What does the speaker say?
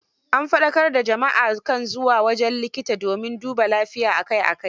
An faɗakar da jama'a a kan zuwa wajen likita domin dubaa lafiya a kai a kai.